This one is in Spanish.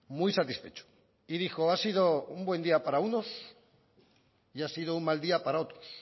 muy satisfecho y dijo ha sido un buen día para unos y ha sido un mal día para otros